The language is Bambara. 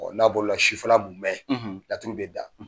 N'a bolo la sufƐla munmɛn laturu bɛ da,